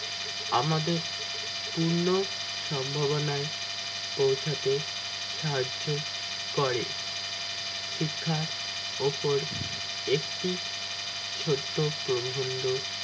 আমাদের পূর্ণ সম্ভাবনায় পৌঁছাতে সাহায্য করে শিক্ষার উপর একটি ছোট্ট প্রবন্ধক